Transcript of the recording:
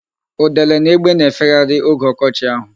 Udele na egbe na-efegharịrị oge ọkọchị ahụ.